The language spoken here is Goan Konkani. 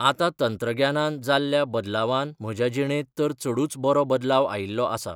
आतां तंत्रग्यानान जाल्ल्या बदलावान म्हज्या जिणेंत तर चडूच बरो बदलाव आयिल्लो आसा.